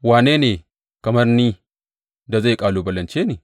Wane ne kamar ni da zai kalubalance ni?